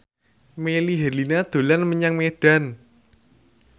Melly Herlina dolan menyang Medan